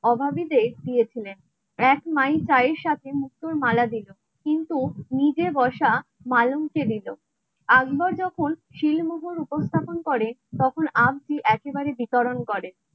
অভাবীদের দিয়েছিলেন এক মায়ের সাথে মুখ মালা দিল. কিন্তু নিজে বসা মালঞ্চে দিত. আকবর যখন শিলমোহর উপস্থাপন করে তখন আমটি একেবারে বিতরণ করে